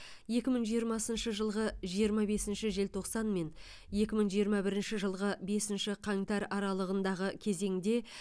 екі мың жиырмасыншы жылғы жиырма бесінші желтоқсан мен екі мың жиырма бірінші жылғы бесінші қаңтар аралығындағы кезеңде